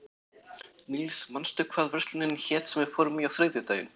Níls, manstu hvað verslunin hét sem við fórum í á þriðjudaginn?